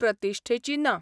प्रतिश्ठेची ना.